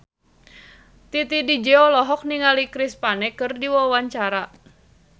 Titi DJ olohok ningali Chris Pane keur diwawancara